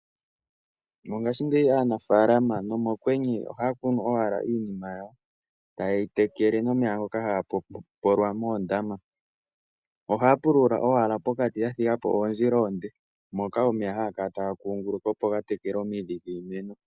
Mongashingeyi aanafaalama nomokwenye ohaya vulu kunu owala iinima yawo taye yi tekele nomeya ngoka haga pompolwa moondama. Ohaya pulula owala pokati yathiga po oondjila oonde moka omeya haga kala taga kunguluka opo gatekele omidhi dhiimeno.